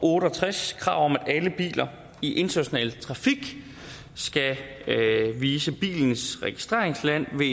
tres krav om at alle biler i international trafik skal vise bilens registreringsland ved